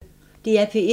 DR P1